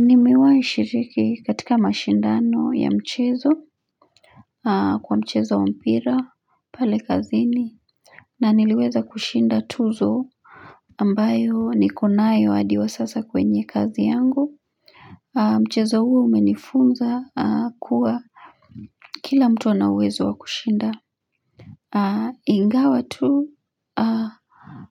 Nimewahi shiriki katika mashindano ya mchezo kwa mchezo wa mpira pale kazini na niliweza kushinda tuzo ambayo nikonayo hadi wa sasa kwenye kazi yangu. Mchezo huo umenifunza kuwa kila mtu anauwezo wa kushinda. Ingawa tu